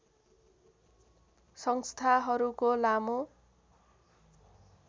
संस्थाहरूको लामो